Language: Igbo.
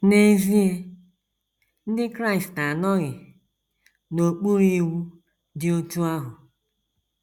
N’ezie, Ndị Kraịst anọghị n’okpuru iwu dị otú ahụ.